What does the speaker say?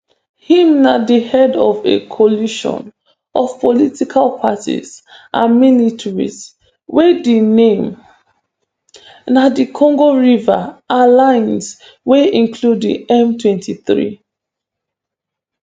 im na di head of a coalition of political parties and militias wey di name na di congo river alliance wey include di mtwenty-three